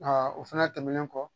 o fɛnɛ tɛmɛnen kɔ